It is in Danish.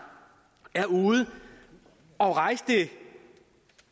er ude at rejse